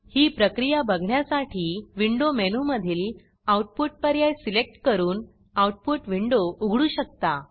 ही प्रक्रिया बघण्यासाठी विंडो मेनूमधील आउटपुट आऊटपुट पर्याय सिलेक्ट करून आऊटपुट विंडो उघडू शकता